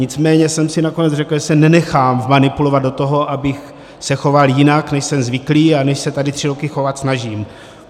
Nicméně jsem si nakonec řekl, že se nenechám vmanipulovat do toho, abych se choval jinak, než jsem zvyklý a než se tady tři roky chovat snažím.